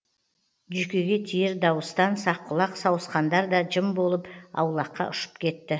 жүйкеге тиер дауыстан саққұлақ сауысқандар да жым болып аулаққа ұшып кетті